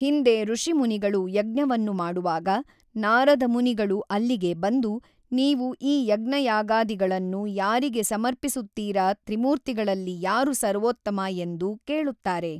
ಹಿಂದೆ ಋಷಿಮುನಿಗಳು ಯಜ್ಞವನ್ನು ಮಾಡುವಾಗ ನಾರದ ಮುನಿಗಳು ಅಲ್ಲಿಗೆ ಬಂದು ನೀವು ಈ ಯಜ್ಞಯಾಗಧಿ ಗಳನ್ನು ಯಾರಿಗೆ ಸಮರ್ಪಿಸುತ್ತೀರ ತ್ರಿಮೂರ್ತಿಗಲ್ಲಿ ಯಾರು ಸರ್ವೋತ್ತಮ ಎಂದು ಕೇಳುತ್ತಾರೆ